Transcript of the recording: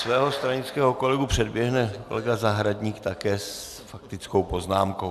Svého stranického kolegu předběhne kolega Zahradník, také s faktickou poznámkou.